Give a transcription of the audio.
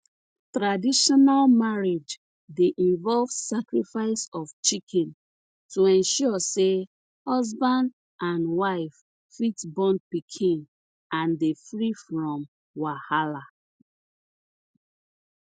traditional marriage dey involve sacrifice of chicken to ensure say husband and wife fit born pikin and dey free from wahala